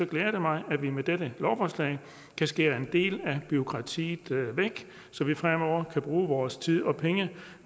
glæder det mig at vi med dette lovforslag kan skære en del af bureaukratiet væk så vi fremover kan bruge vores tid og penge